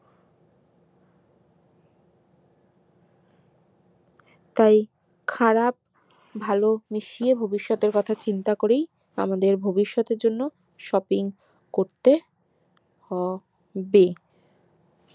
তাই খারাপ ভালো মিশিয়ে ভবিষৎ এর কথা চিন্তা করেই আমাদের ভবিষৎ এর জন্য shopping করতে হবে